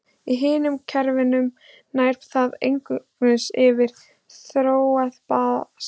Í hinum kerfunum nær það einungis yfir í þróað basalt.